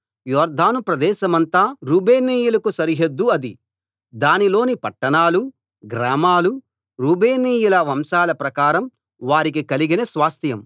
యొర్దాను ప్రదేశమంతా రూబేనీయులకు సరిహద్దు అదీ దానిలోని పట్టణాలూ గ్రామాలూ రూబేనీయుల వంశాల ప్రకారం వారికి కలిగిన స్వాస్థ్యం